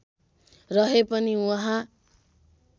रहे पनि उहाँ